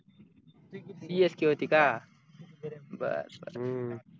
csk होती का बर बर